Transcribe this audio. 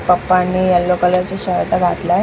पप्पानी येलो कलरचा शर्ट घातलाय म--